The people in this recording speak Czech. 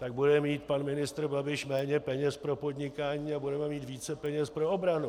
Tak bude mít pan ministr Babiš méně peněz pro podnikání a budeme mít více peněz pro obranu.